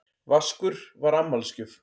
Vaskur var afmælisgjöf.